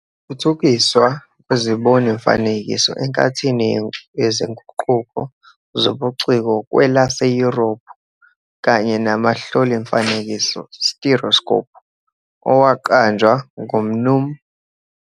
Ukuthuthukiswa kwezibon'imifanekiso enkathini yezinguquko zobuciko kwelaseYurophu kanye nomahloli'mifanekiso "stereoscope" owaqanjwa nguMnu.